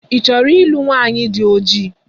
Ị chọrọ ịlụ nwaanyi dị ojii?